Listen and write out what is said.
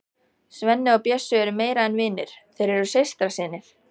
Svenni og Bjössi eru meira en vinir, þeir eru systrasynir.